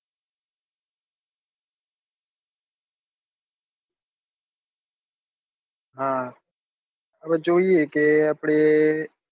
હવે આપણે જોઈએ